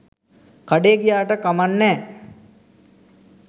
කඩේ ගියාට කමන් නෑ.